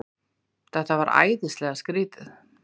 Þetta var æðislega skrýtið.